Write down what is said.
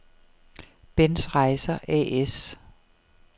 Benns Rejser A/S